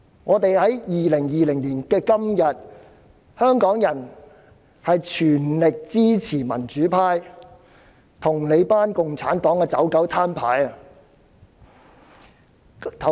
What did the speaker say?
在2020年的今天，香港人全力支持民主派與你們這群共產黨的"走狗""攤牌"。